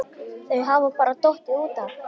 Þau hafa bara dottið út af